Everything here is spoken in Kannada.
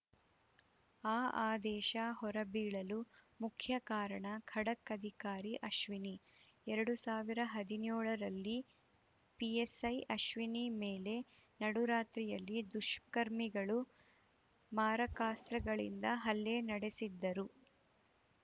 ಆ ಆದೇಶ ಹೊರಬೀಳಲು ಮುಖ್ಯ ಕಾರಣ ಖಡಕ್‌ ಅಧಿಕಾರಿ ಅಶ್ವಿನಿ ಎರಡು ಸಾವಿರ ಹದಿನೇಳರಲ್ಲಿ ಪಿಎಸ್‌ಐ ಅಶ್ವಿನಿ ಮೇಲೆ ನಡುರಾತ್ರಿಯಲ್ಲಿ ದುಷ್ಕರ್ಮಿಗಳು ಮಾರಕಾಸ್ತ್ರಗಳಿಂದ ಹಲ್ಲೆ ನಡೆಸಿದ್ದರು